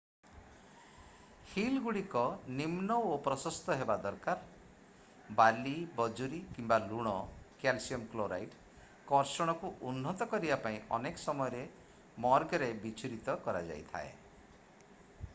ହୀଲ୍‌ଗୁଡ଼ିକ ନିମ୍ନ ଓ ପ୍ରସସ୍ତ ହେବା ଦରକାର। ବାଲି ବଜୁରୀ କିମ୍ବା ଲୁଣ କ୍ୟାଲସିୟମ୍ କ୍ଲୋରାଇଡ୍ କର୍ଷଣକୁ ଉନ୍ନତ କରିବା ପାଇଁ ଅନେକ ସମୟରେ ମର୍ଗରେ ବିଚ୍ଛୁରିତ କରାଯାଇଥାଏ।